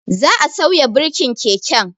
Za'a sauya birkin keken